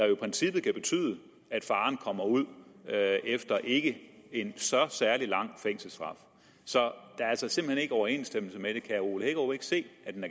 jo i princippet kan betyde at faren kommer ud efter en ikke særlig lang fængselsstraf så der er simpelt hen ikke overensstemmelse mellem tingene herre ole hækkerup ikke se